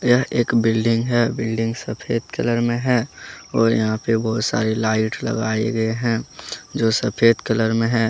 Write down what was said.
यह एक बिल्डिंग है बिल्डिंग सफेद कलर में है और यहां पे बहुत सारी लाइट लगाए गए हैं जो सफेद कलर में है।